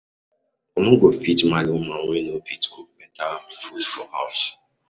I no go fit marry woman wey no fit cook beta food for house.